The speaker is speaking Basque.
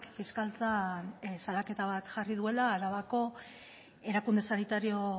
fiskaltzan salaketa bat jarri duela arabako erakunde sanitario